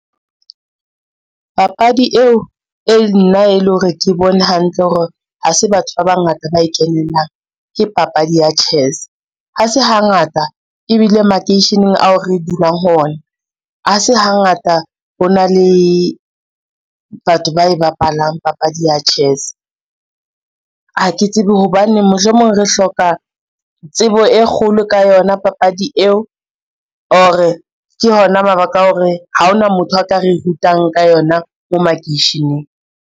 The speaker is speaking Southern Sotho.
Papadi eo e nna e le hore ke bone hantle hore ha se batho ba bangata ba e kenelang ke papadi ya chess, ha se hangata ebile makeisheneng ao re dulang ho ona, ha se hangata ho na le batho ba e bapalang papadi ya chess. Ha ke tsebe hobaneng mohlomong re hloka tsebo e kgolo ka yona papadi eo, or-re ke hona mabaka a hore ha hona motho a ka re rutang ka yona mo makeisheneng.